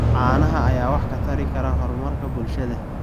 Caanaha ayaa wax ka tari kara horumarka bulshada.